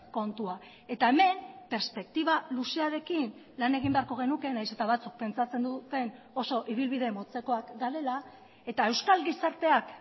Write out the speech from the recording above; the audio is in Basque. kontua eta hemen perspektiba luzearekin lan egin beharko genuke nahiz eta batzuk pentsatzen duten oso ibilbide motzekoak garela eta euskal gizarteak